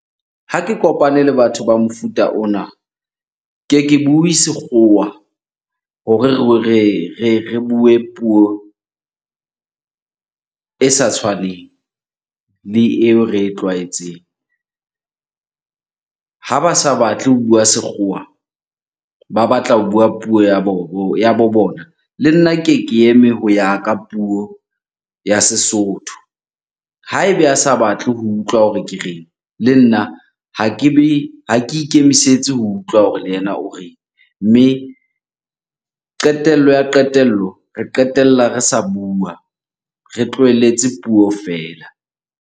Ha ke kopane le batho ba mofuta ona, ke ke bue sekgowa hore re bue puo e sa tshwaneng le eo re e tlwaetseng. Ha ba sa batle ho bua sekgowa, ba batla ho bua puo ya bo bona. Le nna ke ke eme ho ya ka puo ya Sesotho. Ha ebe a sa batle ho utlwa hore ke reng, le nna ha kebe, ha ke ikemisetse ho utlwa hore le yena o reng. Mme qetello ya qetello, re qetella re sa bua, re tlohelletse puo feela.